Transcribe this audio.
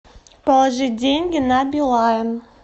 положить деньги на билайн